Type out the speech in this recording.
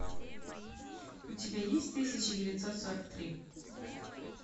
у тебя есть тысяча девятьсот сорок три